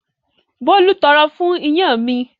Bólú tọrọ fún iyán mi.